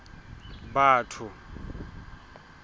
batho